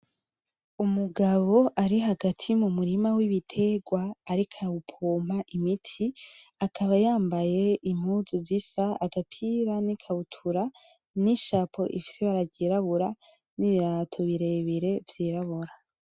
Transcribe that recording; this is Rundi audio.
Umugabo ari hagati mumurima w ibiterwa ark arawupoma imiti akaba yambaye impuzu zisa agapira n ikabutura ni shapo ifise ibara ryirabura nibirato birebire vyirabura